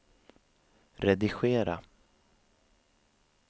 redigera